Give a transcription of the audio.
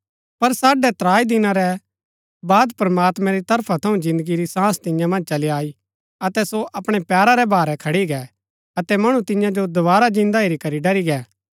पर साढ़ै त्राई दिना रै बाद प्रमात्मैं री तरफा थऊँ जिन्दगी री सांस तियां मन्ज चली आई अतै सो अपणै पैरा रै भारै खडी गै अतै मणु तिन्या जो दोवारा जिन्दा हेरी करी ड़री गै